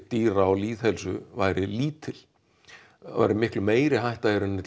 dýra og lýðheilsu væri lítil það væri miklu meiri hætta í rauninni